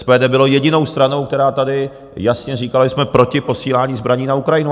SPD bylo jedinou stranou, která tady jasně říkala, že jsme proti posílání zbraní na Ukrajinu.